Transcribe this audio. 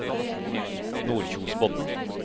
Nordkjosbotn